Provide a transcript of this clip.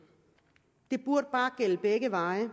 det burde bare gælde begge veje